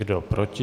Kdo proti?